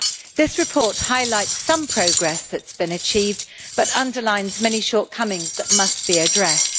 This report highlights some progress that has been achieved, but underlines many shortcomings that must be addressed.